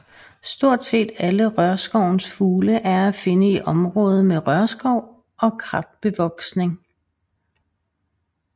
Stort set alle rørskovens fugle er at finde i området med rørskov og kratbevoksning